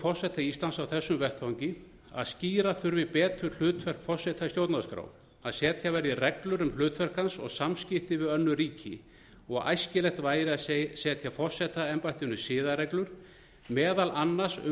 forseta íslands á þessum vettvangi að skýra þurfi betur hlutverk forseta í stjórnarskrá að setja verði reglur um hlutverk hans og samskipti við önnur ríki og æskilegt væri að setja forsetaembættinu siðareglur meðal annars um